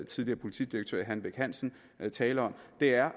tidligere politidirektør hanne bech hansen tale om er